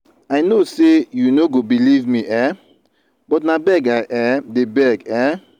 i no say you no go believe me um but na beg i um dey beg. um